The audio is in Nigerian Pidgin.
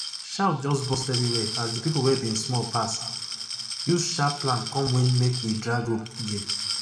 shout just burst everywhere as di pipu wey bin small pass use sharp plan come win makewedrag rope game